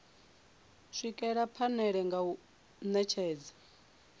swikelela phanele nga u netshedza